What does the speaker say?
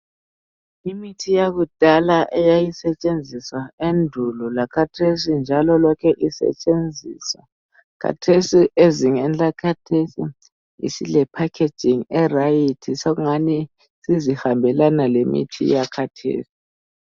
Imithi yakudala eyayisetshenziswa endulo lakhathesi njalo lokhe isetshenziswa. Kathesi ezingeni lakhathesi isile"packaging" e"right",sokungani sizihambelana lemithi yakhathesi.